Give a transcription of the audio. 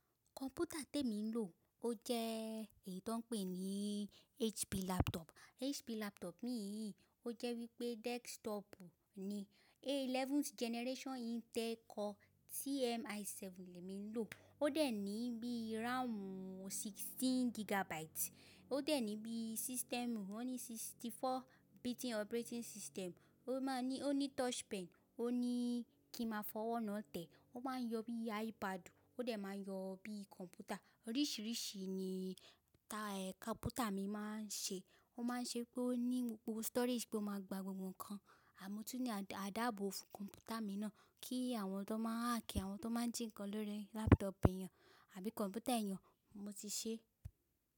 Kọ̀m̀pútà tí èmi ń lo ó jẹ́ èyí tó ń pè ní HP laptop. HP laptop mi yìí ó jẹ́ wí pé desktop ni. A11 generation Intel Core TM i7 ni mi ń lo. Ó dẹ̀ ní bí RAM 16 gigabyte. Ó dẹ̀ ní bí system, ó ní 64 bit operating system. Ó má ní, ó ní touch pen, ó ní kí n máa fọwọ́ náà tẹ̀. Ó máa ń yọ bí iPad, ó dẹ̀ máa ń yọ bí kọ̀m̀pútà. Oríṣiríṣi ni kọ̀m̀pútà mi máa ń ṣe. Ó máa ń ṣe pé ó ní gbogbo storage bó máa gba ohun kan, àmó túnì a dáàbò fún kọ̀m̀pútà mi náà kí àwọn tó máa hák, àwọn tó máa jìnkan lórí laptop ẹnìyàn àbí kọ̀m̀pútà ẹ̀yínà mo ti ṣe.